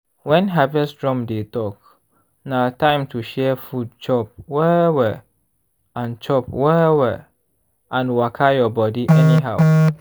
when harvest drum dey talk na time to share food chop well-well and chop well-well and waka your body anyhow.